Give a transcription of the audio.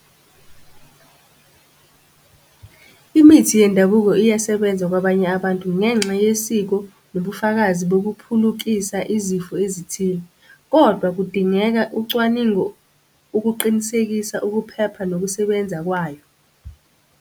Imithi yendabuko iyasebenza kwabanye abantu ngenxa yesiko nobufakazi bokuphulukisa izifo ezithile, kodwa kudingeka ucwaningo ukuqinisekisa ukuphepha nokusebenza kwayo.